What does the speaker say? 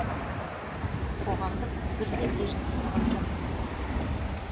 қоғамдық пікір де теріс болған жоқ